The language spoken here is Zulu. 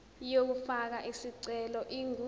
yokufaka isicelo ingu